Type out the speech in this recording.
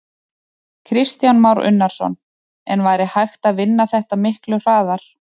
Kristján Már Unnarsson: En væri hægt að vinna þetta miklu hraðar?